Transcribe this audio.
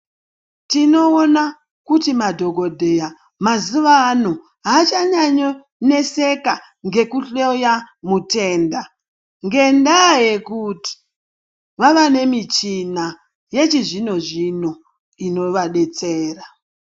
Tinoona kuti madhokodheya mazuwa ano hachanyanyo kuneseka nhekuhloya mutenda ngendaya yekuti vava nemichina yechizvino zvino inovadetsera.